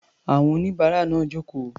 Àwọn oníbàárà náà jókòó.